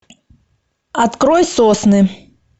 открой сосны